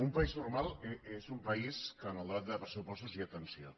un país normal és un país en què en el debat de pressupostos hi ha atenció